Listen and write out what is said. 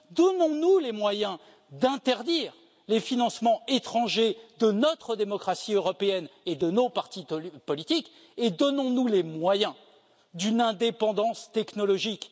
Donnons nous les moyens d'interdire les financements étrangers de notre démocratie européenne et de nos partis politiques, et donnons nous les moyens d'une indépendance technologique.